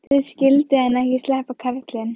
Nú skyldi hann ekki sleppa, karlinn.